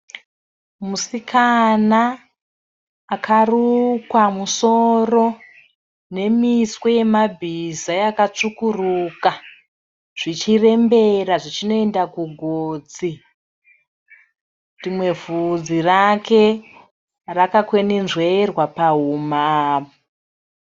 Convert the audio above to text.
Musikana akarukwa musoro nemiswe yebhiza yakasvukuruka. Zvichirembera zvichinoenda kugotsi. Rimwe hudzi rake rakakwenenzverwa pahuna.